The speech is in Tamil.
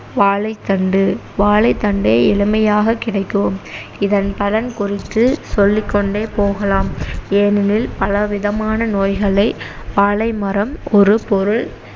வாழைத்தண்டு வாழைத்தண்டே இளமையாகக் கிடைக்கும் இதன் பலன் குறித்து சொல்லிக்கொண்டே போகலாம் ஏனெனில் பலவிதமான நோய்களை வாழைமரம் ஒரு பொருள்